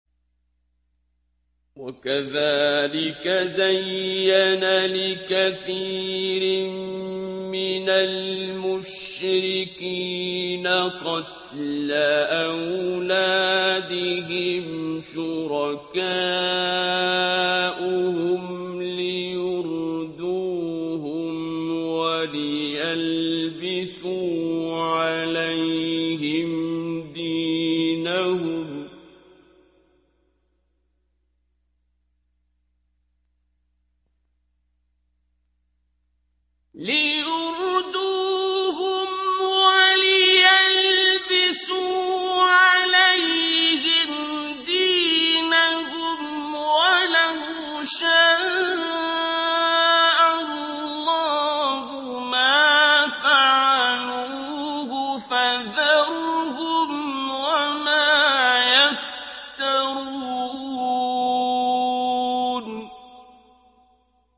وَكَذَٰلِكَ زَيَّنَ لِكَثِيرٍ مِّنَ الْمُشْرِكِينَ قَتْلَ أَوْلَادِهِمْ شُرَكَاؤُهُمْ لِيُرْدُوهُمْ وَلِيَلْبِسُوا عَلَيْهِمْ دِينَهُمْ ۖ وَلَوْ شَاءَ اللَّهُ مَا فَعَلُوهُ ۖ فَذَرْهُمْ وَمَا يَفْتَرُونَ